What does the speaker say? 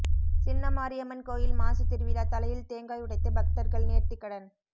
சின்னமாரியம்மன் கோயில் மாசி திருவிழா தலையில் தேங்காய் உடைத்து பக்தர்கள் நேர்த்திக்கடன்